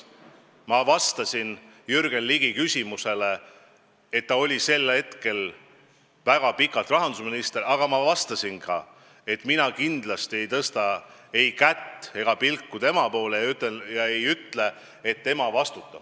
Ma ütlesin Jürgen Ligi küsimuse peale, et ta oli sellel ajal väga pikalt rahandusminister, aga ma ütlesin ka, et mina kindlasti ei tõsta ei näppu ega pilku tema poole, et öelda, et tema vastutab.